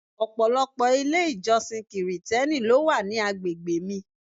Ọ̀pọ̀lọpọ̀ ilé-ìjọsìn Kirìtẹ́nì ló wà ní àgbègbè mi.